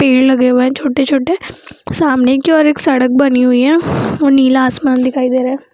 पेड़ लगे हुए हैं छोटे-छोटे सामने की ओर एक सड़क बनी हुई है और नीला आसमान दिखाई दे रखा है।